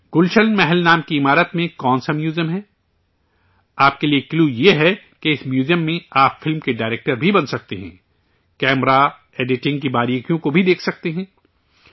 گلشن محل نام کی عمارت میں کون سا میوزیم ہے؟ آپ کے لیے کلیو یہ ہے کہ اس میوزیم میں آپ فلم کے ڈائرکٹر بھی بن سکتے ہیں، کیمرہ، ایڈیٹنگ کی باریکیوں کو بھی دیکھ سکتے ہیں